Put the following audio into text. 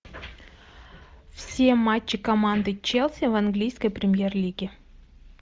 все матчи команды челси в английской премьер лиге